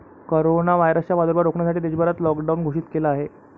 Corona व्हायरसचा प्रादुर्भाव रोखण्यासाठी देशभरात लॉकडाऊन घोषित केला आहे.